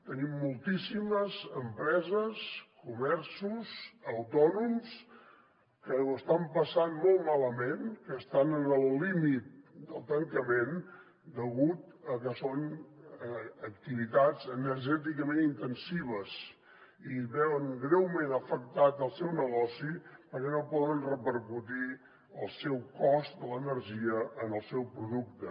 tenim moltíssimes empreses comerços autònoms que ho estan passant molt malament que estan en el límit del tancament degut a que són activitats energèticament intensives i veuen greument afectat el seu negoci perquè no poden repercutir el cost de l’energia en el seu producte